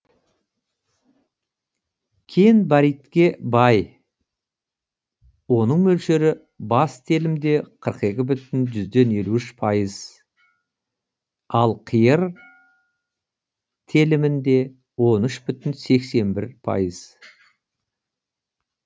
кен баритке бай оның мөлшері бас телімде қырық екі бүтін жүзден елу үш пайыз ал қиыр телімінде он үш бүтін сексен бір пайыз